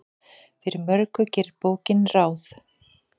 Fyrir mörgu gerir bókin ráð.